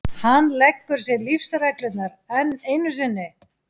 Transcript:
Hann leggur sér lífsreglurnar enn einu sinni.